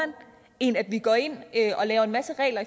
end at vi går ind og laver en masse regler